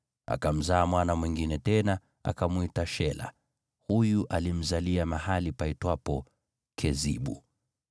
Akamzaa mwana mwingine tena, akamwita Shela. Huyu alimzalia mahali paitwapo Kezibu.